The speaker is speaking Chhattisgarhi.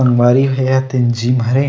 अऊ बारी म हेवय तेहा जिम घरे।